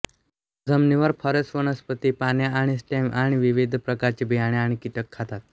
जमिनीवर फॉरेस वनस्पती पाने आणि स्टेम आणि विविध प्रकारचे बियाणे आणि कीटक खातात